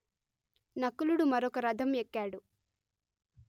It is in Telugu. నకులుడు మరొక రథం ఎక్కాడు